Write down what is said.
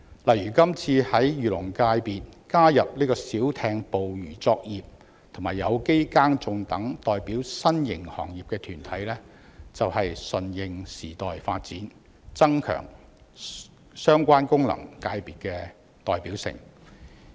例如，今次在漁農界功能界別加入小艇捕魚作業及有機耕種等代表新型行業的團體，便是順應時代發展，增強相關功能界別的代表性。